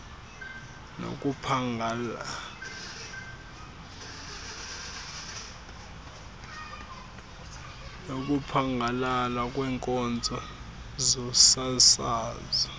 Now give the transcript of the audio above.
nokuphangalala kweenkonzo zosasazo